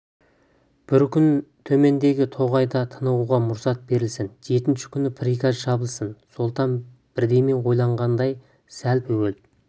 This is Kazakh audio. бір күн төмендегі тоғайда тынығуға мұрсат берілсін жетінші күні приказ шабылсын сұлтан бірдеме ойланғандай сәл бөгеліп